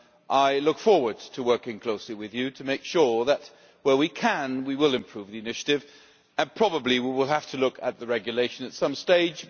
I look forward to working closely with Parliament to make sure that, where we can, we will improve the Initiative, and probably we will have to look at the regulation at some stage.